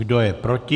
Kdo je proti?